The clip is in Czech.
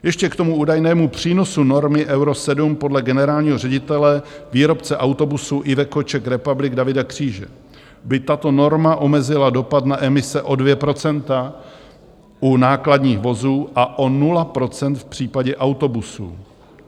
Ještě k tomu údajnému přínosu normy Euro 7: podle generálního ředitele výrobce autobusů Iveco Czech Republic Davida Kříže by tato norma omezila dopad na emise o 2 % u nákladních vozů a o 0 % v případě autobusů.